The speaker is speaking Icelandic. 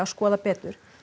skoða betur